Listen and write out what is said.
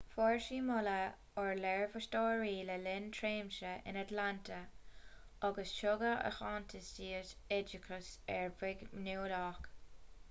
fuair ​​sí moladh ó léirmheastóirí le linn a tréimhse in atlanta agus tugadh aitheantas di as oideachas uirbeach nuálach